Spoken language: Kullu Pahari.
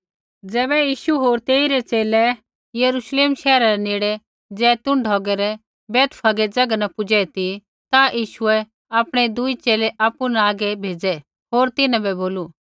ज़ैबै यीशु होर तेइरै च़ेले यरूश्लेमा शैहरा रै नेड़े जैतून ढौगै री बैतफगै ज़ैगा न पुजै ती यीशुऐ आपणै दूई च़ेले आपु न आगै भेज़ै होर तिन्हां बै बोलू